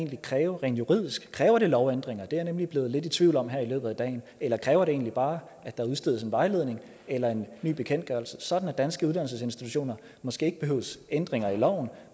ville kræve rent juridisk kræver det lovændringer det er jeg nemlig blevet lidt i tvivl om her i løbet af dagen eller kræver det egentlig bare at der udstedes en vejledning eller en ny bekendtgørelse sådan at danske uddannelsesinstitutioner måske ikke behøves ændringer i loven